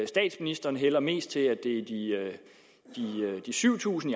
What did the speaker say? statsministeren hælder mest til at det er de syv tusind